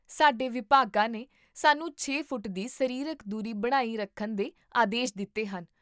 ਸਾਡੇ ਵਿਭਾਗਾਂ ਨੇ ਸਾਨੂੰ ਛੇ ਫੁੱਟ ਦੀ ਸਰੀਰਕ ਦੂਰੀ ਬਣਾਈ ਰੱਖਣ ਦੇ ਆਦੇਸ਼ ਦਿੱਤੇ ਹਨ